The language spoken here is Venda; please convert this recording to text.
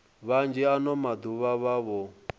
vhanzhi ano maḓuvha vha vho